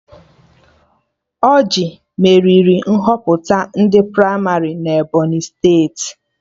Ọrjị meriri Nhọpụta ndị pramarị na Ebọnyị steeti